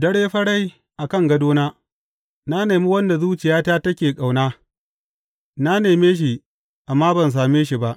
Dare farai a kan gadona na nemi wanda zuciyata take ƙauna; na neme shi amma ban same shi ba.